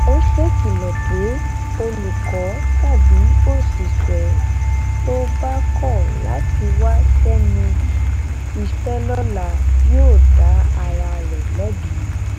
ó ṣèkìlọ pé olùkọ tàbí òṣìṣẹ tó bá kọ láti wá sẹnu iṣẹ lọla yóò dá ara rẹ lẹbi